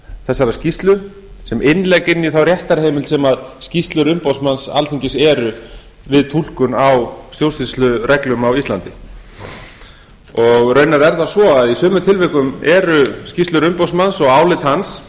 þessarar skýrslu sem innlegg inn í þá réttarheimild sem skýrslur umboðsmanns alþingis eru við túlkun á stjórnsýslureglum á íslandi raunar er það svo að í sumum tilvikum eru skýrslur umboðsmanns og álit hans